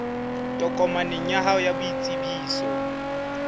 tokomaneng ya hao ya boitsebiso